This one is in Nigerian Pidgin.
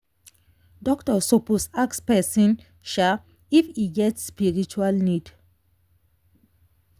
doctor suppose ask person if e get spiritual need.